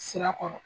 Sira kɔrɔ